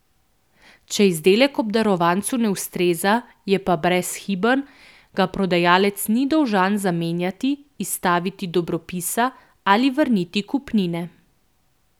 Če izdelek obdarovancu ne ustreza, je pa brezhiben, ga prodajalec ni dolžan zamenjati, izstaviti dobropisa ali vrniti kupnine.